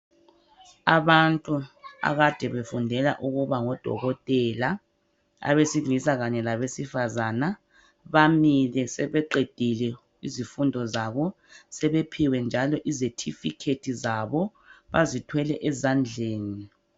Abantu akade befundela ukuba ngodokotela abesilisa kanye labesifazana bamile sebeqedile izifundo zabo sebephiwe njalo izetifikethi zabo bazithwele ezandleni.